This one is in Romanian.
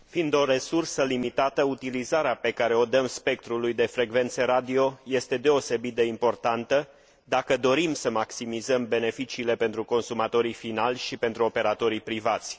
Fiind o resursă limitată, utilizarea pe care o dăm spectrului de frecvențe radio este deosebit de importantă, dacă dorim să maximizăm beneficiile pentru consumatorii finali și pentru operatorii privați.